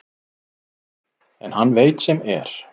En hann veit sem er.